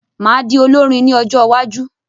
Màá di olórin ní ọjọ́wájú